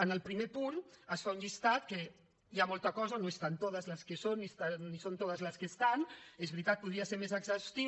en el primer punt es fa un llistat en què hi ha molta cosa no están todas las que son ni son todas las que están és veritat podria ser més exhaustiu